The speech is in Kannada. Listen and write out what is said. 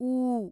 ಊ